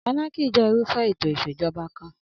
Anarchy je irúfé ètò ìsèjoba kan